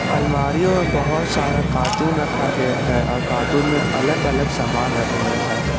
अलमारीयों में बहुत सारा कार्टून रखा गया है और कार्टून में अलग अलग सामान रखे गए हैं।